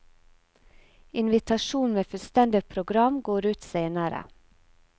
Invitasjon med fullstendig program går ut senere.